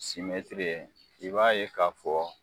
Simɛtiri ye i b'a ye k'a fɔ